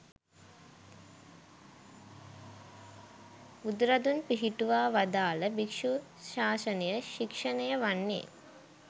බුදුරදුන් පිහිටුවා වදාළ භික්‍ෂු ශාසනය ශික්‍ෂණය වන්නේ